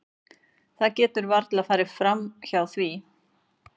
Það getur varla farið hjá því.